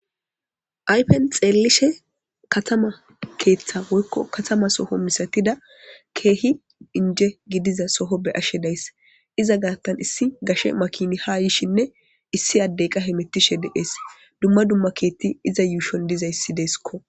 aypen xeellishe katama keeththa woykko katama soho misatida keehi inje gidiza soho be ashe days iza gaartan issi gashe makini haa yishinne issi addey qahe mettishe de7ees dumma dumma keethti iza yuushon dizayssideeskko